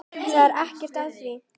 Það er ekkert að því.